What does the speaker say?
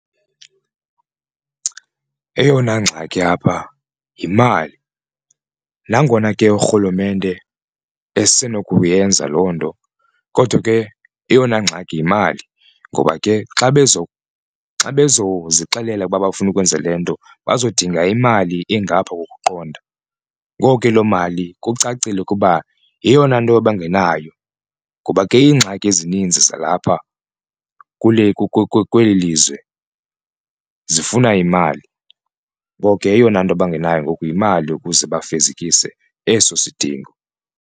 Eyona ngxaki apha yimali nangona ke urhulumente esinokuyenza loo nto kodwa ke eyona ngxaki yimali ngoba ke xa bezozixelela ukuba bafuna ukwenza le nto bezodinga imali engapha kokuqonda. Ngoku ke loo mali kucacile ukuba yeyona nto abangenayo ngoba ke ingxaki ezinzi zalapha kule kweli lizwe zifuna imali ngoko ke eyona nto bangenayo ngoku yimali ukuze bafezekise eso sidingo.